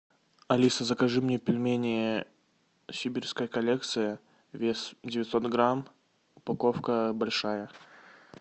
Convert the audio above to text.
алиса закажи мне пельмени сибирская коллекция вес девятьсот грамм упаковка большая